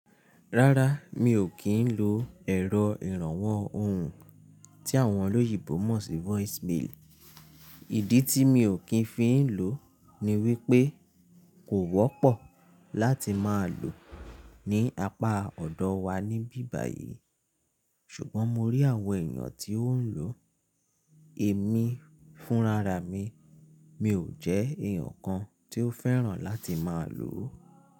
Rárá, mi ò kí ń lo ẹ̀rọ ìrànwọ́ ohùn tí àwọn olóyinbó mọ̀ sí voicemail. Ìdí tí mi ò kí ń fi ń lò ni wípé kò wọ́pọ̀ láti máa lò ní apá ọ̀dọ̀ wa níbí báyìí. Ṣùgbọ́n mo rí àwọn èèyàn tí ó ń lò, èmi fúnra ra mi. Mi ò jẹ́ èèyàn kan tí ó fẹ́ràn láti máa lò ó.